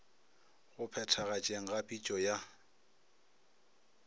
go phethagatšeng ga pitšo ya